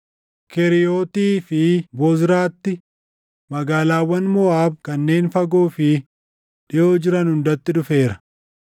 Keriiyoottii fi Bozraatti, magaalaawwan Moʼaab kanneen fagoo fi // dhiʼoo jiran hundatti dhufeera.